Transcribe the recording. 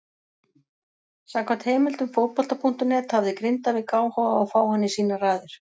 Samkvæmt heimildum Fótbolta.net hafði Grindavík áhuga á að fá hann í sínar raðir.